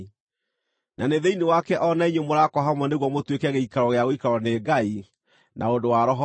Na nĩ thĩinĩ wake o na inyuĩ mũraakwo hamwe nĩguo mũtuĩke gĩikaro gĩa gũikarwo nĩ Ngai na ũndũ wa Roho wake.